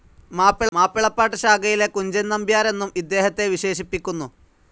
മാപ്പിളപ്പാട്ട്‌ ശാഖയിലെ കുഞ്ചൻ നമ്പ്യാരെന്നും ഇദ്ദേഹത്തെ വിശേഷിപ്പിക്കുന്നു.